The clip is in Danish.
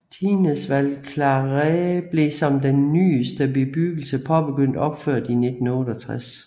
Tignes Val Claret blev som den nyeste bebyggelse påbegyndt opført i 1968